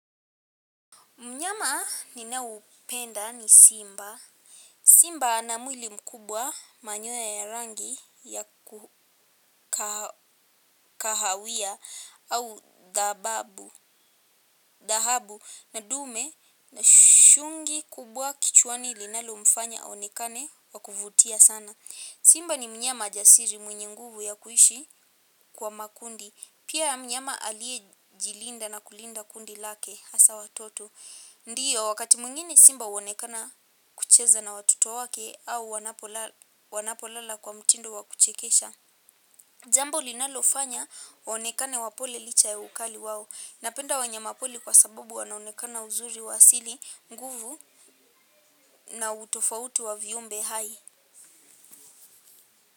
Mnyama ninaupenda ni Simba. Simba ana mwili mkubwa manyoya ya rangi ya kahawia au dhahabu, na dume ana shungi kubwa kichwani linalomfanya aonekane wakuvutia sana. Simba ni mnyama jasiri mwenye nguvu ya kuishi kwa makundi. Pia mnyama aliyejilinda na kulinda kundi lake hasa watoto. Ndiyo wakati mwingine simba huonekana kucheza na watoto wake au wanapolala kwa mtindo wakuchekesha. Jambo linalofanya waonekane wapole licha ya ukali wao. Napenda wanyamapori kwa sababu wanaonekana uzuri wa asili, nguvu na utofautu wa viumbe hai.